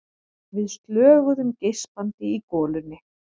Við slöguðum geispandi í golunni.